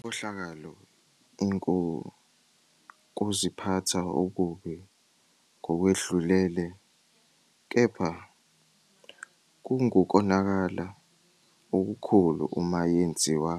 Inkohlakalo ingukuziphatha okubi ngokwedlulele, kepha kungukonakala okukhulu uma yenziwa